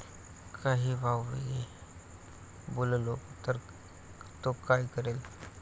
काही वावगे बोललो तर तो काय करेल?